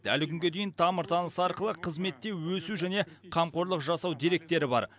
әлі күнге дейін тамыр танысы арқылы қызметте өсу және қамқорлық жасау деректері бар